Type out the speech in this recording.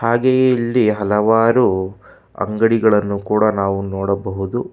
ಹಾಗೆ ಇಲ್ಲಿ ಹಲವಾರು ಅಂಗಡಿಗಳನ್ನು ಕೂಡ ನಾವು ನೋಡಬಹುದು.